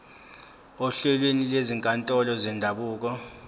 ohlelweni lwezinkantolo zendabuko